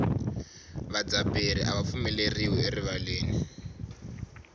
vadzaberi ava pfumeleriwi erivaleni